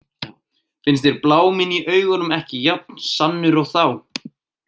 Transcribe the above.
Finnst þér bláminn í augunum ekki jafn sannur og þá?